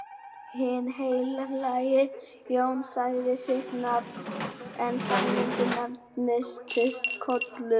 Hinn heilagi Jón sagði sitt nafn en Sæmundur nefndist Kollur.